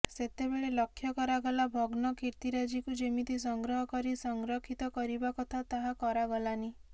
ସେତେବେଳେ ଲକ୍ଷ୍ୟ କରାଗଲା ଭଗ୍ନ କୀର୍ତ୍ତିରାଜିକୁ ଯେମିତି ସଂଗ୍ରହ କରି ସଂରକ୍ଷିତ କରିବା କଥା ତାହା କରାଗଲାନି